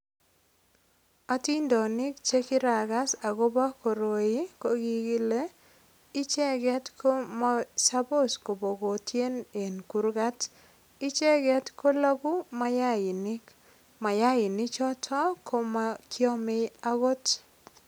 Atindonik che kiragas agobo koroi ko kikile icheget komosopos kobotien eng kurgat. Icheget kolagu mayainik. Mayaini choto komakiame agot.